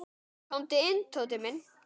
Komdu inn, Tóti minn.